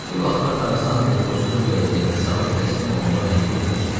Bir vaxtlar Tarzan Terkozu bu vəziyyətə salıb təslim olmağa məcbur etmişdi.